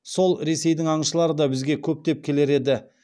сол ресейдің аңшылары да бізге көптеп келер еді